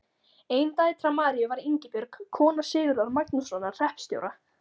Ein dætra Maríu var Ingibjörg, kona Sigurðar Magnússonar hreppstjóra.